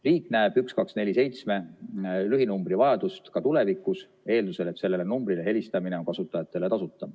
Riik näeb 1247 lühinumbri vajadust ka tulevikus, eeldusel et sellele numbrile helistamine on kasutajatele tasuta.